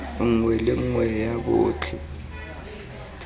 nngwe le nngwe ya botlhe